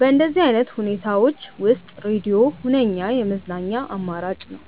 በእንደዚህ አይነት ሁኔታዎች ውስጥ ሬድዮ ሁነኛ የመዝናኛ አማራጭ ነው።